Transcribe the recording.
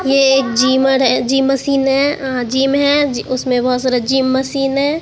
ये एक जिमर है जिम मशीन है अ जिम है जि उसमें बहोत सारा जिम मशीन है।